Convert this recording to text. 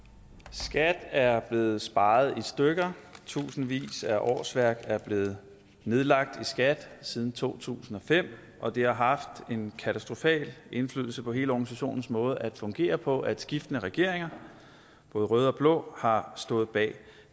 skat er blevet sparet i stykker tusindvis af årsværk er blevet nedlagt i skat siden to tusind og fem og det har haft en katastrofal indflydelse på hele organisationens måde at fungere på at skiftende regeringer både røde og blå har stået bag